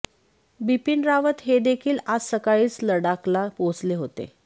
बिपिन रावत हे देखील आज सकाळीच लडाखला पोहोचले होते